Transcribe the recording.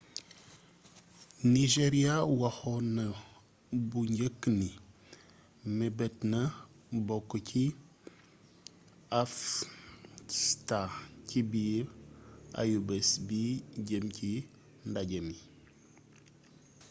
nigeria waxoon na bu njëkk ni mebetna bokk ci afcfta ci biir ayubés bi jeem ci ndajémi